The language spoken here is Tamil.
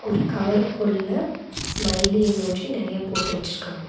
ஒரு கவரு குள்ள ஸ்மைலி எமோஜி நெறையா போட்டு வெச்சுருக்காங்க.